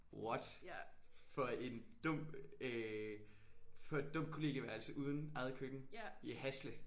What for en dum øh for et dumt kollegieværelse uden eget køkken i Hasle?